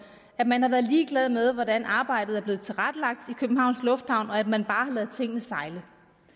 at man har været ligeglad med hvordan arbejdet er blevet tilrettelagt i københavns lufthavn og at man bare har ladet tingene sejle